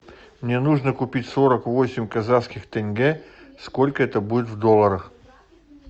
мне нужно купить сорок восемь казахских тенге сколько это будет в долларах